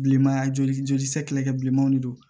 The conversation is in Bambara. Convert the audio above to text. Bilenmaya joli sɛgɛsɛgɛ bilenmanw de don